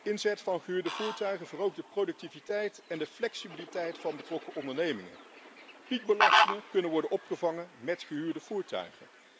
Inzet van gehuurde voertuigen verhoogt de productiviteit en de flexibiliteit van betrokken ondernemingen. Piekbelastingen kunnen worden opgevangen met gehuurde voertuigen.